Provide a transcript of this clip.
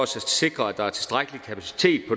sikre at der er tilstrækkelig kapacitet